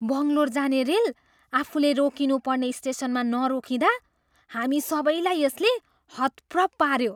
बङ्गलोर जाने रेल आफूले रोकिनु पर्ने स्टेसनमा नरोकिँदा हामी सबैलाई यसले हतप्रभ पाऱ्यो।